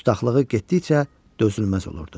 Dustaxlığı getdikcə dözülməz olurdu.